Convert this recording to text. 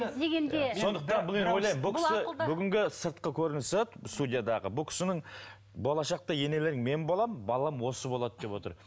сондықтан бұл енді ойлаймын бұл кісі бүгінгі сыртқы көрінісі студиядағы бұл кісінің болашақта енелерің мен боламын балам осы болады деп отыр